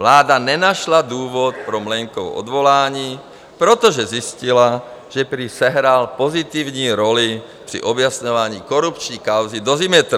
Vláda nenašla důvod pro Mlejnkovo odvolání, protože zjistila, že prý sehrál pozitivní roli při objasňování korupční kauzy Dozimetr.